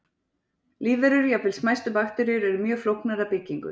Lífverur, jafnvel smæstu bakteríur, eru mjög flóknar að byggingu.